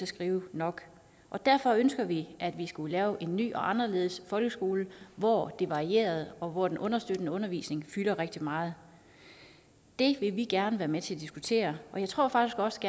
skrive nok derfor ønskede vi at man skulle lave en ny og anderledes folkeskole hvor det varierede og hvor den understøttende undervisning fyldte rigtig meget det vil vi gerne være med til at diskutere og jeg tror faktisk også